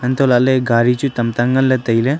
anto lah ley gari chu tamta ngan ley tailey.